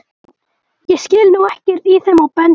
Ég skil nú ekkert í þeim á bensín